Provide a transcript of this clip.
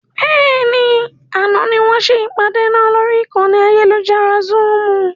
Bẹ́ẹ̀ni, àná ni wọn ṣe ìpàdé náà lórí ìkànnì ayélujára Zoom.